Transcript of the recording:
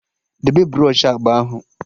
Debe bros u agba ahụ!